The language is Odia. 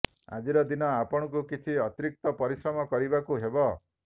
ଆଜିର ଦିନ ଆପଣଙ୍କୁ କିଛି ଅତିରିକ୍ତ ପରିଶ୍ରମ କରିବାକୁ ହେବ